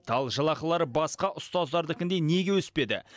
ал жалақылары басқа ұстаздардікіндей неге өспеді